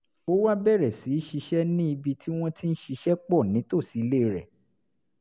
ó wá bẹ̀rẹ̀ sí í ṣiṣẹ́ ní ibi tí wọ́n ti ń ṣiṣẹ́ pọ̀ nítòsí ilé rẹ̀